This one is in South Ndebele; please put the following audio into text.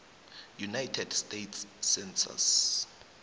united states census